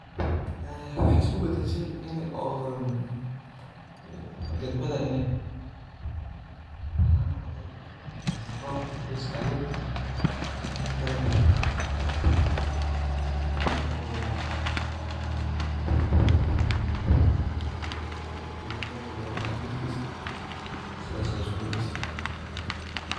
Waxee isku badashe in oo dagmadha in ee biya laan noqote mase robka u ka istage dalagi ini u dalagi sobixi waye biya laan darteed sithas ayey isku badashe.